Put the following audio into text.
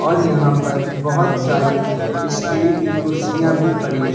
और यहां पर बहोत सारी स्टील की कुर्सियां भी पड़ी है।